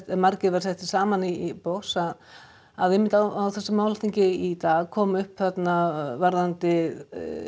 margir væru settir saman í box að að einmitt á þessu málþingi í dag kom upp þarna varðandi